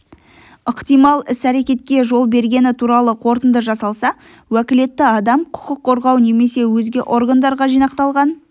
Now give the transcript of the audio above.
ықтимал с-әрекетке жол бергені туралы қорытынды жасалса уәкілетті адам құқық қорғау немесе өзге органдарға жинақталған